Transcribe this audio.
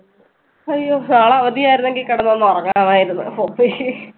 അയ്യോ നാളെ അവധി ആയിരുന്നെങ്കിൽ കിടന്നൊന്ന് ഉറങ്ങാമായിരുന്നു. okay